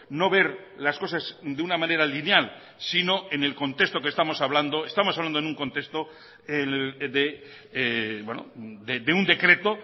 no ver las cosas de una manera lineal sino en el contexto que estamos hablando estamos hablando en un contexto de un decreto